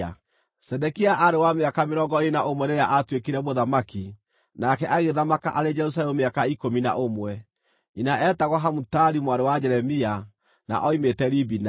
Zedekia aarĩ wa mĩaka mĩrongo ĩĩrĩ na ũmwe rĩrĩa aatuĩkire mũthamaki, nake agĩthamaka arĩ Jerusalemu mĩaka ikũmi na ũmwe. Nyina eetagwo Hamutali mwarĩ wa Jeremia, na oimĩte Libina.